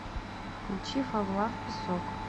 включи фавлав песок